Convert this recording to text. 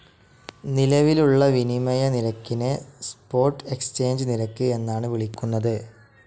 നിലവിലുള്ള വിനിമയനിരക്കിനെ spot exchange നിരക്ക് എന്നാണ് വിളിക്കുന്നത്.